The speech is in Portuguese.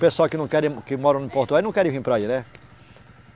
O pessoal que não querem, que moram em Porto Velho não querem vir para aí, né?